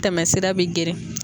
Tɛmɛsira bi geren.